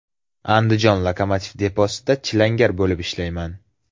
Andijon lokomotiv deposida chilangar bo‘lib ishlayman.